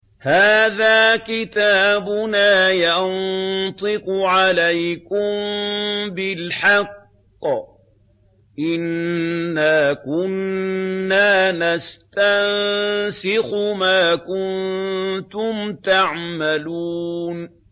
هَٰذَا كِتَابُنَا يَنطِقُ عَلَيْكُم بِالْحَقِّ ۚ إِنَّا كُنَّا نَسْتَنسِخُ مَا كُنتُمْ تَعْمَلُونَ